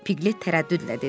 Piqlet tərəddüdlə dedi.